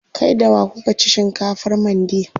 Kai da wa kuka ci shinkafar mandi?